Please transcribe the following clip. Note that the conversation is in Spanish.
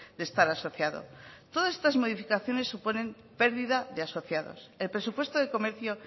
de estar asociado todas estas modificaciones suponen pérdida de asociados el presupuesto de comercio